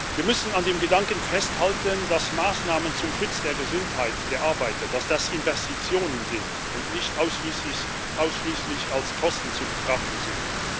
Wir müssen an dem Gedanken festhalten, dass Maßnahmen zum Schutz der Gesundheit der Arbeiter Investitionen sind und nicht ausschließlich als Kosten zu betrachten sind.